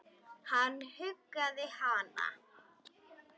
Hann huggaði hana.